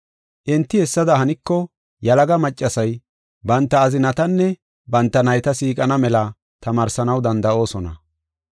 Enti hessada haniko yalaga maccasay banta azinatanne banta nayta siiqana mela tamaarsanaw danda7oosona.